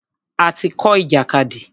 A ti kọ́ ìjàkadì.